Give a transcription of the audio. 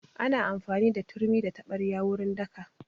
Ana amfani da turmi da taɓarya wurin daka